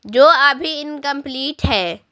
जो अभी इनकंप्लीट है।